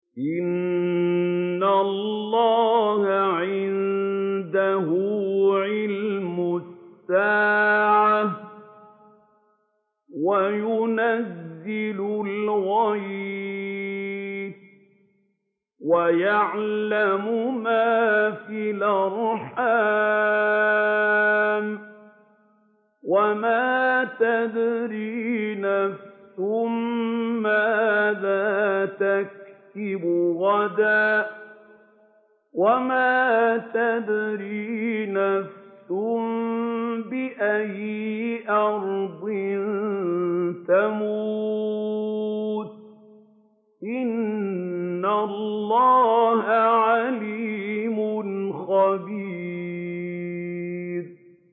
إِنَّ اللَّهَ عِندَهُ عِلْمُ السَّاعَةِ وَيُنَزِّلُ الْغَيْثَ وَيَعْلَمُ مَا فِي الْأَرْحَامِ ۖ وَمَا تَدْرِي نَفْسٌ مَّاذَا تَكْسِبُ غَدًا ۖ وَمَا تَدْرِي نَفْسٌ بِأَيِّ أَرْضٍ تَمُوتُ ۚ إِنَّ اللَّهَ عَلِيمٌ خَبِيرٌ